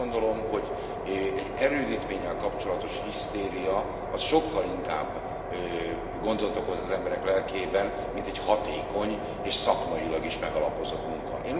Én azt gondolom, hogy egy erődítménnyel kapcsolatos hisztéria az sokkal inkább gondot okoz az emberek lelkében, mint egy hatékony és szakmailag is megalapozott munka.